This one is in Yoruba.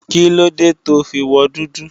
Kílóde to fi wọ dúdú?